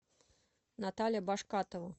наталья башкатова